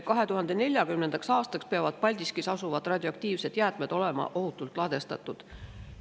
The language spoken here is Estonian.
2040. aastaks peavad Paldiskis asuvad radioaktiivsed jäätmed olema ohutult ladustatud.